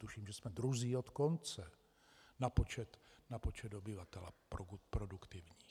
Tuším, že jsme druzí od konce na počet obyvatel produktivních.